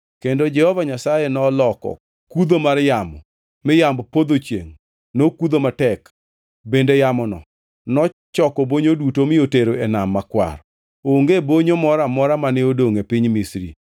Kendo Jehova Nyasaye noloko kudho mar yamo mi yamb podho chiengʼ nokudho matek, bende yamono nochoko bonyo duto mi otero e Nam Makwar. Onge bonyo moro amora mane odongʼ e piny Misri.